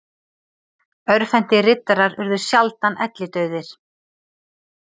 Örvhentir riddarar urðu sjaldan ellidauðir.